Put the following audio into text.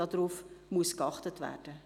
darauf muss geachtet werden.